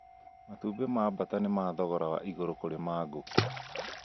Matumbĩ ma mbata nĩ ma thogora wa igũrũ kũrĩ ma ngũkũ